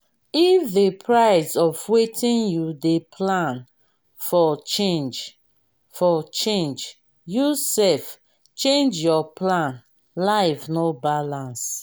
if di price of wetin you dey plan for change for change you sef change your plan life no balance